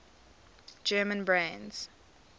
german brands